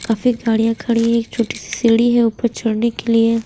काफी गाड़ियां खड़ी है एक छोटी सी सीढ़ी है ऊपर चढ़ने के लिए--